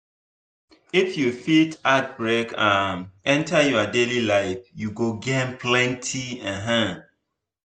if you fit add break um enter your daily life you go gain plenty. um